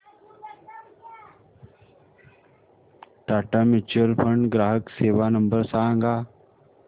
Tata mutual fund ग्राहक सेवा number सांगा